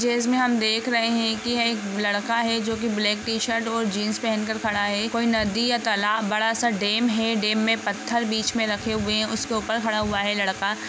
यह इमेज में हम देख रहे हे की एक लड़का है जो की ब्लेक टीशर्ट और जिन्स पहन कर खड़ा है यह कोई नदी या तलब बड़ा सा डेम है डेम में पत्थर बिच में रखे हुए है उसके ऊपर खड़ा हुवा है लड़का ।